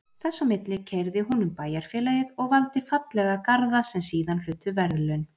Þess á milli keyrði hún um bæjarfélagið og valdi fallega garða sem síðan hlutu verðlaun.